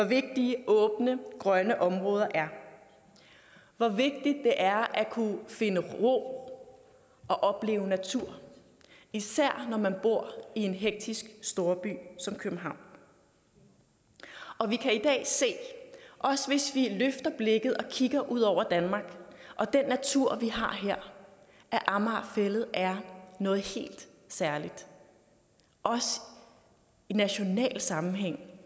vigtige åbne grønne områder er hvor vigtigt det er at kunne finde ro og opleve natur især når man bor i en hektisk storby som københavn og vi kan i dag se også hvis vi løfter blikket og kigger ud over danmark og den natur vi har her at amager fælled er noget helt særligt også i national sammenhæng